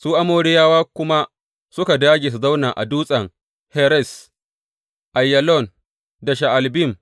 Su Amoriyawa kuma suka dāge su zauna a Dutsen Heres, Aiyalon, da Sha’albim.